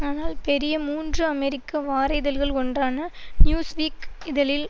ஆனால் பெரிய மூன்று அமெரிக்க வார இதழ்கள் ஒன்றான நியூஸ் வீக் இதழில்